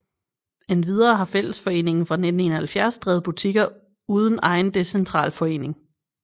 Endvidere har fællesforeningen fra 1971 drevet butikker uden egen decentral forening